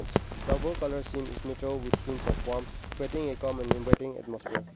double colour scene is with hints of warmth a common inviting atmosphere.